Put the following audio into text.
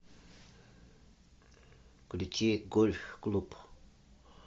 включи гольф клуб